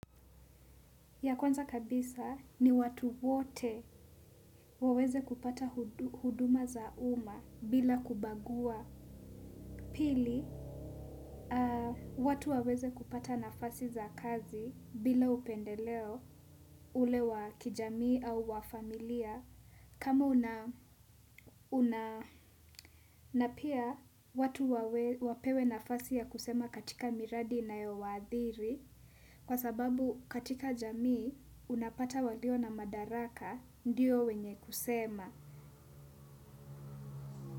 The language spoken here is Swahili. Ya kwanza kabisa ni watu wote waweze kupata huduma za umma bila kubagua pili. Watu waweze kupata nafasi za kazi bila upendeleo ule wa kijamii au wa familia. Kama una na pia watu wapewe nafasi ya kusema katika miradi inayowaadhiri. Kwa sababu katika jamii unapata walio na madaraka ndiyo wenye kusema.